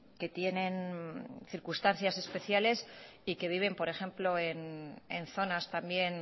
que tienen circunstancias especiales y que viven por ejemplo en zonas también